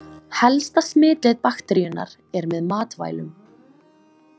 Helsta smitleið bakteríunnar er með matvælum.